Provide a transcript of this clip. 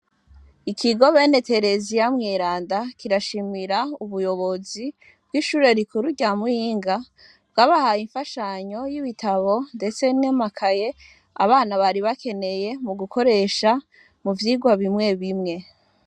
Ikigo bene Tereziya mweranda kirashimira ubuyobozi bwishure rikuru rya Muyinga ryabahaye imfashanyo yibitabo ndetse n'amakaye abana bari bakeneye mugukoresha muvyigwa bimwe bimwe.